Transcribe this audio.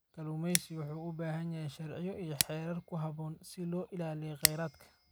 Kalluumeysigu waxay u baahan yihiin sharciyo iyo xeerar ku habboon si loo ilaaliyo kheyraadka.